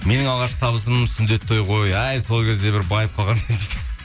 менің алғашқы табысым сүндет той ғой әй сол кезде бір байып қалғанмын